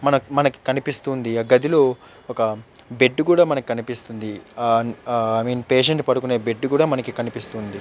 మనకు మనకు కనిపిస్తుంది ఒక గదిలో బెడ్ కూడా మనకు కనిపిస్తుంది. Uh uh I mean patient పనుకుని బెడ్ లాగా ఉంది.